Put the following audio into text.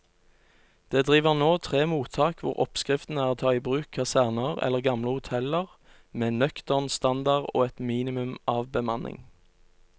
Det driver nå tre mottak hvor oppskriften er å ta i bruk kaserner eller gamle hoteller med nøktern standard og et minimum av bemanning.